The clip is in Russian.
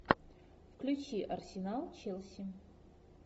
включи арсенал челси